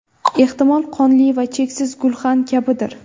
Ehtimol, qonli va cheksiz gulxan kabidir?